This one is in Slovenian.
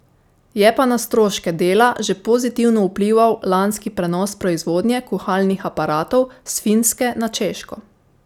Je pa na stroške dela že pozitivno vplival lanski prenos proizvodnje kuhalnih aparatov s Finske na Češko.